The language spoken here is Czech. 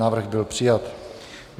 Návrh byl přijat.